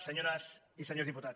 senyores i senyors diputats